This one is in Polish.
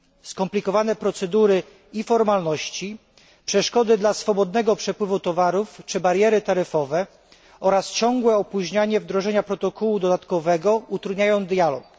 Skomplikowane procedury i formalności, przeszkody dla swobodnego przepływu towarów czy bariery taryfowe oraz ciągłe opóźnianie wdrożenia protokołu dodatkowego utrudniają dialog.